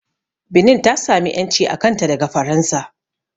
Benin ta sami ƴanci a kanta daga Faransa